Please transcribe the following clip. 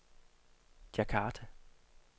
Djakarta